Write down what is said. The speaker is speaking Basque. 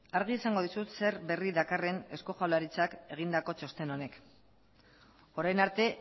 argi esango dizut zer berri dakarren eusko jaurlaritzak egindako txosten honek orain arte